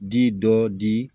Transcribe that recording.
Di dɔ di